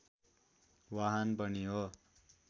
वाहन पनि हो